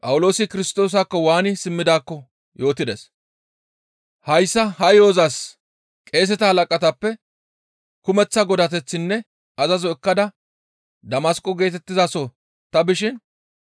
«Hayssa ha yo7ozas qeeseta halaqatappe kumeththa godateththinne azazo ekkada Damasqo geetettizaso ta bishin,